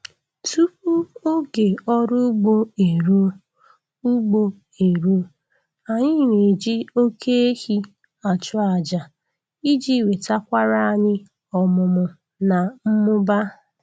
Tupu oge ọrụ ugbo eruo, ugbo eruo, anyị na-eji oke ehi achụ aja iji wetakwara anyị ọmụmụ na mmụba